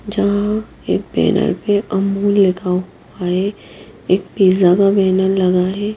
यहां एक बैनर पे अमूल लिखा हुआ है एक पिज़्ज़ा का बैनर लगा है।